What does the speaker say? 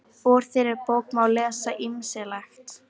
Úr þeirri bók má lesa ýmislegt.